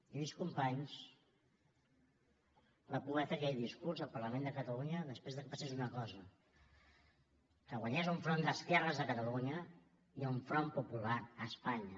lluís companys va poder fer aquell discurs al parlament de catalunya després que passés una cosa que guanyés un front d’esquerres a catalunya i un front popular a espanya